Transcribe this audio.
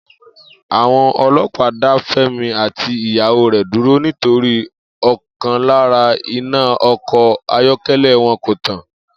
Àwo̩n o̩ló̩pàá dá Fé̩mi àti ìyàwó rè̩ dúró nítorí ò̩kan lára iná o̩kò̩ ayó̩ké̩lé̩ wo̩n kò tàn